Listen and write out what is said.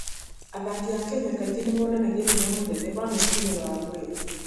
Athaki a Kenya kaingĩ nĩ monanagia hinya mũnene wa meciria na wa mwĩrĩ.